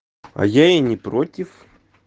а я и не против